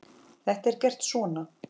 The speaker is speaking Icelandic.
Þetta er gert svona